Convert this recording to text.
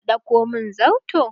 Je ka ɗauko min zarto!